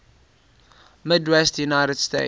midwestern united states